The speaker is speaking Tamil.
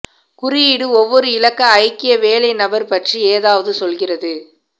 குறியீடு ஒவ்வொரு இலக்க ஐக்கிய வேலை நபர் பற்றி ஏதாவது சொல்கிறது